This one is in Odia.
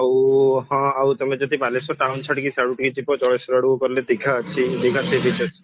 ଆଉ ହଁ ଆଉ ତମେ ଯଦି ବାଲେଶ୍ଵର town ଛାଡିକି ସିଆଡକୁ ଟିକେ ଯିବ ଜଳେଶ୍ଵର ଆଡକୁ ଗଲେ ଦିଘା ଅଛି ଦିଘା ସେଇଠି ଗୋଟେ ଅଛି